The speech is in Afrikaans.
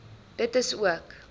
dit is ook